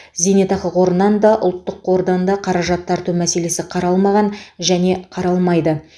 зейнетақы қорынан да ұлттық қордан да қаражат тарту мәселесі қаралмаған және қаралмайды